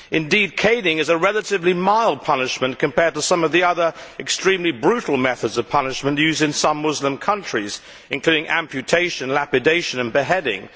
Indeed, caning is a relatively mild punishment compared to some of the other extremely brutal methods of punishment used in some Muslim countries, including amputation, lapidation and beheading.